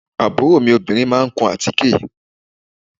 Àbúrò mi obìnrin máa kun àtíkè